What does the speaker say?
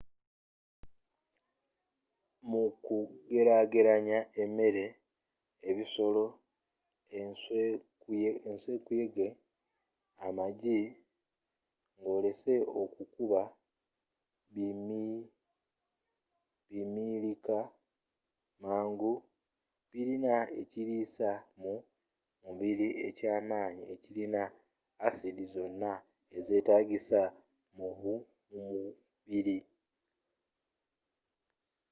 mu kugereageranya emmere yebisolo ensw, enkuyege amagi ngolese ekyokuba bti bimilika mangu, birina ekiriisa mu mubiri ekyamanyi ekirina aside zonna ezeetagisa mumubiri